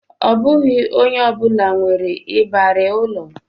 Ọ bụghị onye ọ bụla nwere ịbarị ụlọ